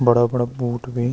बड़ा बड़ा बूठ भीं।